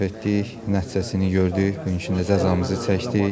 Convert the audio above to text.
Səhv etdik, nəticəsini gördük, bu gün cəzamızı çəkdik.